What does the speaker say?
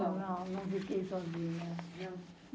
Não, não fiquei sozinha.